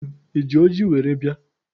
Unu eji ọjị were bịa?